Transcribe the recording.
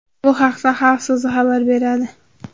Bu haqda Xalq so‘zi xabar beradi .